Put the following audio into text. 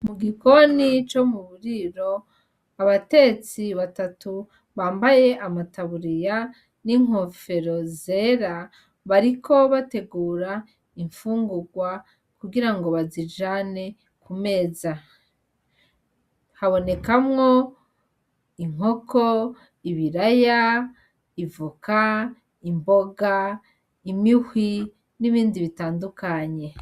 Mu gikoni co mu buriro abatetsi batatu bambaye amataburiya n'inkofero zera bariko bategura imfungurwa kugira ngo baza ijane ku meza habonekamwo inkokoibe biraya ivuka imboga imihwi n'ibindi bitandukanye.